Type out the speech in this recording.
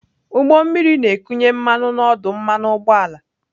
Ụgbọ mmiri na-ekunye mmanụ na ọdụ mmanụ ụgbọala.